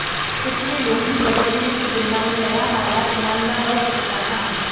पिछले लोभी धर्मगुरू की तुलना में नया वाला ईमानदार और सच्चा था